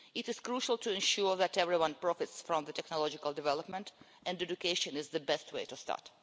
It is crucial to ensure that everyone profits from technological development, and education is the best way to start.